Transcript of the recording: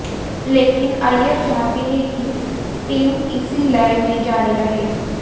लेकिन अय्यर चाहते हैं कि टीम इसी लय में जारी रहे